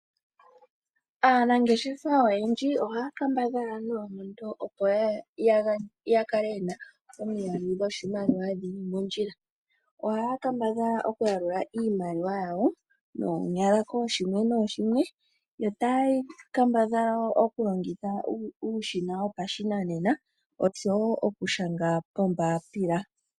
Aanangeshefa oyendji ohaya kambadhala noonkondo opo ya kale yena omiyalu dhoshimaliwa dhili mondjila, ohaya kambadhala okuyalula iimaliwa yawo noonyala kooshimwe nooshimwe. Yo taya kambadhala wo okulongitha uushina wopashinanena oshowo okushanga pombapila.